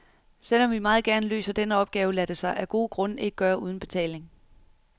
Selv om vi meget gerne løser denne opgave, lader det sig af gode grunde ikke gøre uden betaling.